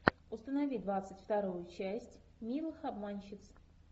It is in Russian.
установи двадцать вторую часть милых обманщиц